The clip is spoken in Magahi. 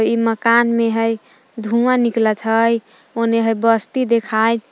इ मकान में हइ धुआं निकलत हइ ओने हइ बस्ती देखाय --